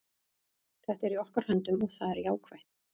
Þetta er í okkar höndum og það er jákvætt.